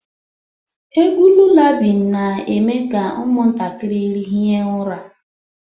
Egwu Lulabi na-eme ka ụmụntakịrị hie ụra